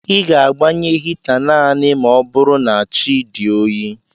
Ị ga-agbanye hita naanị ma ọ bụrụ na chi dị oyi